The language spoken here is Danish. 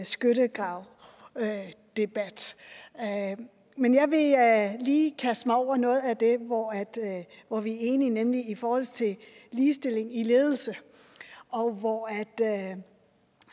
skyttegravsdebat men jeg vil lige kaste mig over noget af det hvor hvor vi er enige nemlig i forhold til ligestilling i ledelse og hvor